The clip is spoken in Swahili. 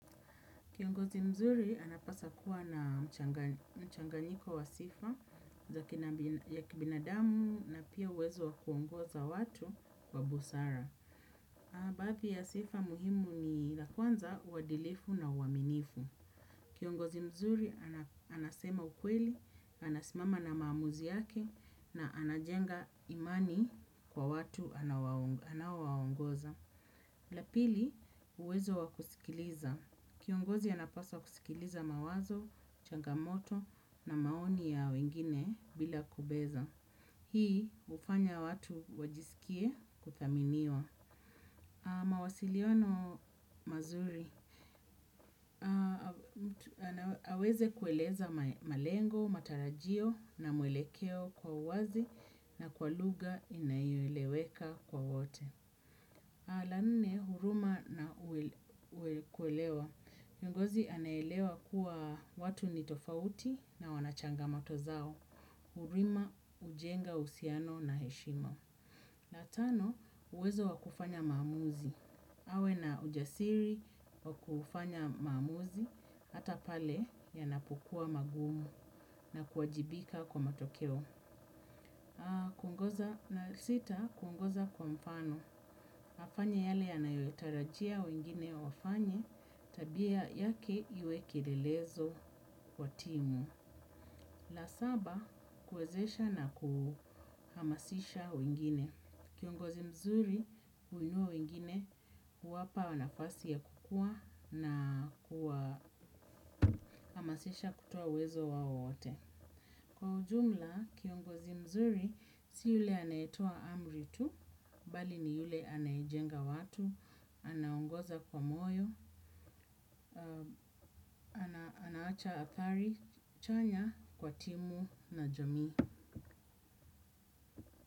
Kiongozi mzuri, anapaswa kuwa na mchanganyiko wa sifa, ya kibinadamu na pia uwezo wa kuongoza watu kwa busara. Baadhi ya sifa muhimu ni la kwanza uadilifu na uaminifu. Kiongozi mzuri, anasema ukweli, anasimama na maamuzi yake na anajenga imani kwa watu anaowaongoza. La pili, uwezo wa kusikiliza. Kiongozi anapaswa kusikiliza mawazo, changamoto na maoni ya wengine bila kubeza. Hii ufanya watu wajisikie kuthaminiwa. Mawasiliono mazuri. Aweze kueleza malengo, matarajio na muelekeo kwa uwazi na kwa lugha inayoeleweka kwa wote. La nne, huruma na kuelewa kiongozi anaelewa kuwa watu ni tofauti na wanachangamoto zao. Huruma, hujenga, uhusiano na heshima. La tano, uwezo wakufanya maamuzi. Awe na ujasiri wakufanya maamuzi, hata pale yanapokua magumu na kuajibika kwa matokeo. La sita, kungoza kwa mfano. Afanye yale yanayotarajia wengine wafanye, tabia yake iwe kilelezo wa timu. La saba, kwezesha na kuhamasisha wengine. Kiongozi mzuri, huinua wengine, huwapa nafasi ya kukua na kuhamasisha kutoa uwezo wao wote. Kwa ujumla, kiongozi mzuri, si yule anayetoa amri tu, bali ni yule anayejenga watu. Anaongoza kwa moyo. Anaacha athari chanya kwa timu na jamii.